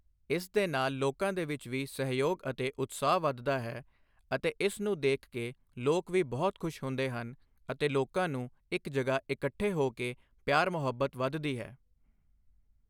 ਇਸ ਦੇ ਨਾਲ਼ ਲੋਕਾਂ ਦੇ ਵਿੱਚ ਵੀ ਸਹਿਯੋਗ ਅਤੇ ਉਤਸ਼ਾਹ ਵੱਧਦਾ ਹੈ ਅਤੇ ਇਸ ਨੂੰ ਦੇਖ ਕੇ ਲੋਕ ਵੀ ਬਹੁਤ ਖੁਸ਼ ਹੁੰਦੇ ਹਨ ਅਤੇ ਲੋਕਾਂ ਨੂੰ ਇੱਕ ਜਗ੍ਹਾ ਇਕੱਠੇ ਹੋ ਕੇ ਪਿਆਰ ਮੁਹੱਬਤ ਵੱਧਦੀ ਹੈ।